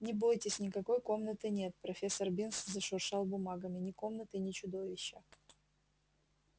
не бойтесь никакой комнаты нет профессор бинс зашуршал бумагами ни комнаты ни чудовища